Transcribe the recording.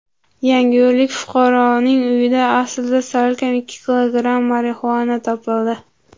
Yangiyo‘llik fuqaroning uyidan salkam ikki kilogramm marixuana topildi.